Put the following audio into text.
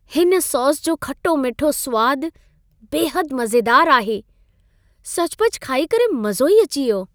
हिन सॉस जो खटो-मिठो सुवाद बेहदु मज़ेदारु आहे। सचुपचु खाई करे मज़ो ई अची वियो!